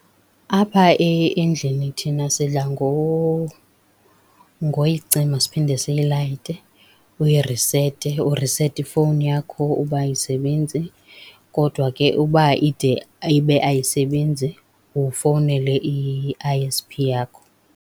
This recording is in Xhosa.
Apha endlini thina sidla ngoyicima siphinde siyilayite. Uyirisete, urisete ifowuni yakho uba ayisebenzi, kodwa ke uba ide ibe ayisebenzi ufowunele i-I_S_P yakho.